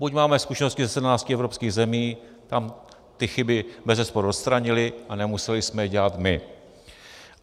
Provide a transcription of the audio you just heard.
Buď máme zkušenosti ze 17 evropských zemí, tam ty chyby bezesporu odstranili a nemuseli jsme je dělat my.